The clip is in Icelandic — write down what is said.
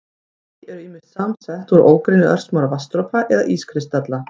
Ský eru ýmist samsett úr ógrynni örsmárra vatnsdropa eða ískristalla.